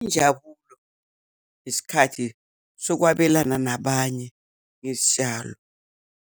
Injabulo isikhathi sokwabelana nabanye ngezitshalo.